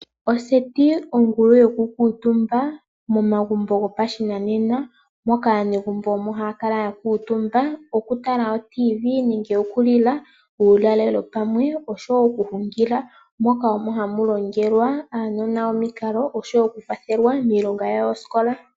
Oseti ongulu yokukutumba megumbo moka aanegumbo haakutumba uuna taatala oTV, taali uulalelo, nosho woo oku hungila moka aavali haalongo uunona wawo omikalo noku kwathela uunona niithigilwa longa.